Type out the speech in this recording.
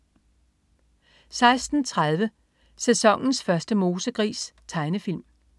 16.30 Sæsonens første mosegris. Tegnefilm